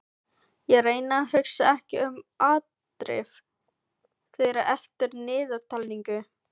Ég reyni að hugsa ekki um afdrif þeirra eftir niðurtalningu.